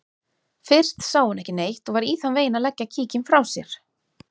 Fyrst sá hún ekki neitt og var í þann veginn að leggja kíkinn frá sér.